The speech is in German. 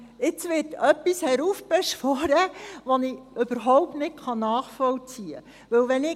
Jetzt wird etwas heraufbeschworen, das ich überhaupt nicht nachvollziehen kann.